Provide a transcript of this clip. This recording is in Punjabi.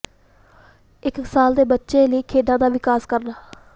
ਇਕ ਸਾਲ ਦੇ ਬੱਚੇ ਲਈ ਖੇਡਾਂ ਦਾ ਵਿਕਾਸ ਕਰਨਾ